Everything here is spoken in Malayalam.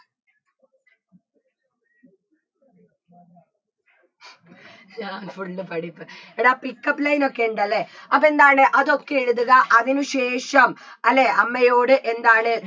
ഇയാളെ full പഠിപ്പ് എടാ pickup line ഒക്കെ ഇണ്ടലേ അപ്പോ എന്താണ് അതൊക്കെ എഴുതുക അതിനു ശേഷം അല്ലേ അമ്മയോട് എന്താണ്